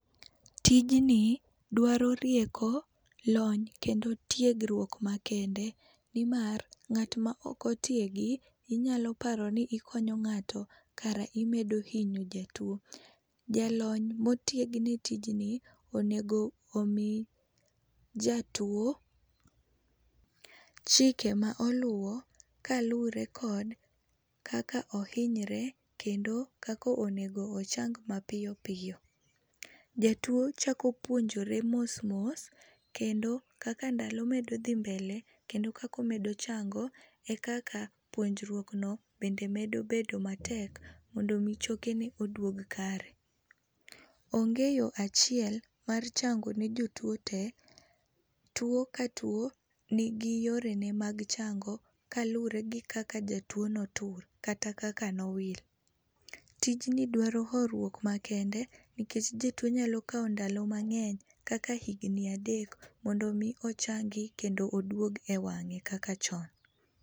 Tijni dwaro rieko, lony kendo tiegruok makende, nimar ng'at maok otiegi inyalo paro ni ikonyo ng'ato kara imedo hinyo jatuo. Jalony motiegni tijni onego omi jatuo chike ma oluwo kaluwore kod kaka ohinyre kendo kaka onego ochang mapiyo piyo. Jatuo chako puonjre mosmos kendo kaka ndalo medo dhi mbele kendo kaka omedo chango ekaka puonjruokno bende medo bedo matek mondo mi chokene oduog kare. Onge yoo achiel mar chango ne jotuo tee, tuo ka tuo nigi yorene mag chango kaluwore gi kaka jatuo notur kata kaka nowil. Tijni dwaro horuok makende, nikech jatuo nyalo kawo ndalo mang'eny kaka higni adek mondo mii ochangi mondo oduog ewang'e kaka chon.